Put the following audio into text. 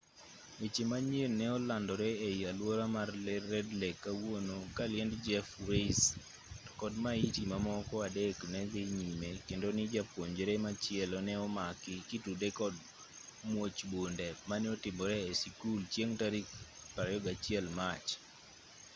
weche manyien ne olandore ei alwora mar red lake kawuono ka liend jeff weise to kod maiti mamoko adek ne dhi nyime kendo ni japuonjre machielo ne omaki kitude kod muoch bunde mane otimore e sikul chieng' tarik 21 mach